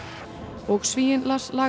og Svíinn Lars